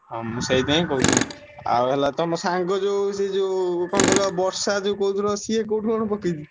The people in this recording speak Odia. ହଁ ମୁଁ ସେଇଥିପାଇଁ କହୁଛି ଆଉ ହେଲା ତମ ସାଙ୍ଗ ଯୋଉ ସେ ଯୋଉ କଣ କହିଲ ବର୍ଷା ଯୋଉ କହୁଥିଲ ସିଏ କୋଉଠି କଣ ପକେଇଛି?